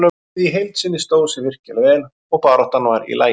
Liðið í heild sinni stóð sig virkilega vel og baráttan var í lagi.